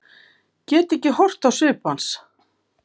Get ekki horft á svip hans.